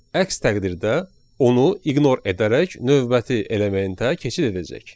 Əks təqdirdə onu ignor edərək növbəti elementə keçid edəcək.